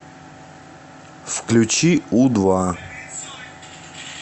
включи у два